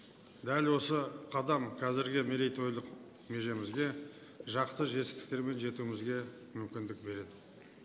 дәл осы қадам қазіргі мерейтойлық межемізде жақсы жетістіктерге жетуімізге мүмкіндік береді